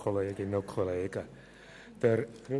Ist dieses Vorgehen bestritten?